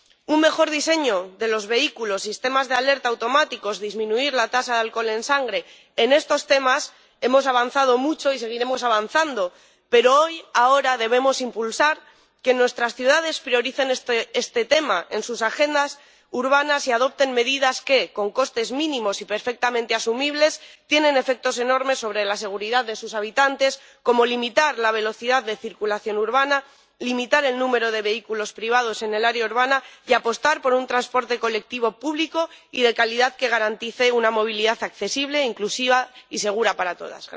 Un mejor diseño de los vehículos, sistemas de alerta automáticos, disminuir la tasa de alcohol en sangre, en estos temas hemos avanzado mucho y seguiremos avanzando, pero hoy, ahora, debemos impulsar que nuestras ciudades prioricen este tema en sus agendas urbanas y adopten medidas que, con costes mínimos y perfectamente asumibles, tienen efectos enormes sobre la seguridad de sus habitantes, como limitar la velocidad de circulación urbana, limitar el número de vehículos privados en el área urbana y apostar por un transporte colectivo público y de calidad que garantice una movilidad accesible, inclusiva y segura para todas.